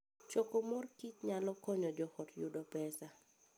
Choko mor kich nyalo konyo joot yudo pesa.